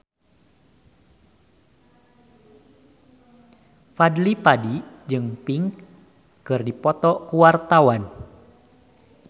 Fadly Padi jeung Pink keur dipoto ku wartawan